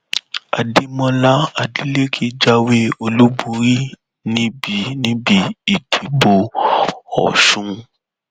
adémọlá adeleke jáwé olúborí níbi níbi ìdìbò ọsun